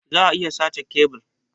Za'a iya sace kebil.